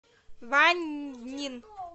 ваньнин